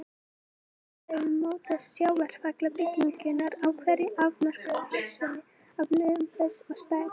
Í öðru lagi mótast sjávarfallabylgjurnar á hverju afmörkuðu hafsvæði af lögun þess og stærð.